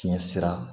Fiɲɛ sira